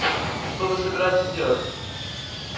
что вы собираетесь делать